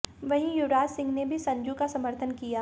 वहीं युवराज सिंह ने भी संजू का समर्थन किया